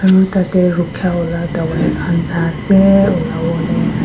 Aro tate rukheya wala tawai khan sai ase ulavole.